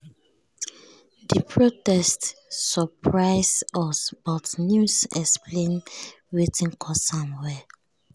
di protest surprise us but news explain wetin cause am well.